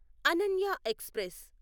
Ananya express